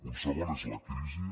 un segon és la crisi